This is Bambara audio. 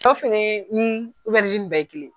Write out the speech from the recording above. Aw fɛnɛ ni bɛɛ ye kelen ye.